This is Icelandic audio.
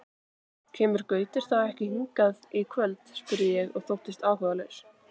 Kemur Gaukur þá ekki hingað í kvöld? spurði ég og þóttist áhugalaus.